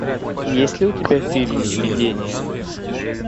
есть ли у тебя фильм видение